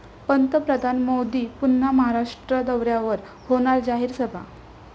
पंतप्रधान मोदी पुन्हा महाराष्ट्र दौऱ्यावर, होणार जाहीर सभा